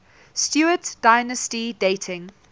stuart dynasty dating